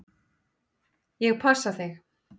Ég passa þig.